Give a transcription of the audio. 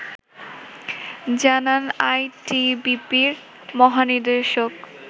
জানান আইটিবিপি-র মহানির্দেশক